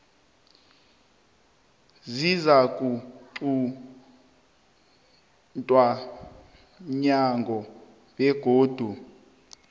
zizakuquntwa mnyango begodu